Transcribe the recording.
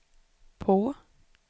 på